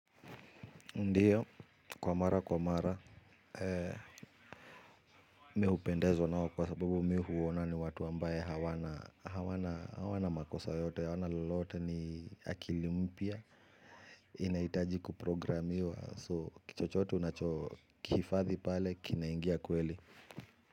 Ndiyo, kwa mara kwa mara, mi hupendezo nao kwa sababu mi huona ni watu ambaye hawana makosa yote, hawana lolote ni akili mpya. Inaitaji kuprogramiwa, so kichochote unacho kihifadhi pale, kinaingia kweli.